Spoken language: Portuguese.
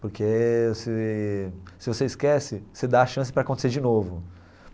Porque se se você esquece, você dá a chance para acontecer de novo.